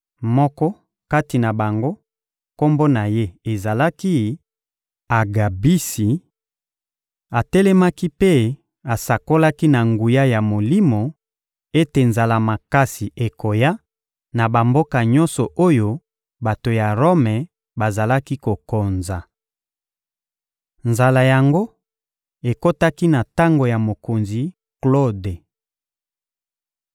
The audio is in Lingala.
Moko kati na bango, kombo na ye ezalaki «Agabisi;» atelemaki mpe asakolaki na nguya ya Molimo ete nzala makasi ekoya na bamboka nyonso oyo bato ya Rome bazali kokonza. Nzala yango ekotaki na tango ya mokonzi Klode.